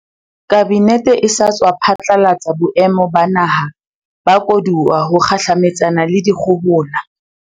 Kabinete e sa tswa phatlalatsa Boemo ba Naha ba Koduwa ho kgahlametsana le dikgohola.